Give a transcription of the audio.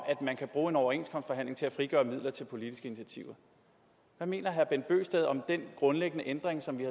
man kan bruge en overenskomstforhandling til at frigøre midler til politiske initiativer hvad mener herre bent bøgsted om den grundlæggende ændring som vi